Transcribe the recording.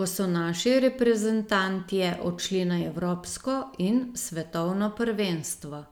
ko so naši reprezentantje odšli na evropsko in svetovno prvenstvo.